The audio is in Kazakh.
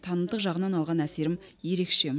танымдық жағынан алған әсерім ерекше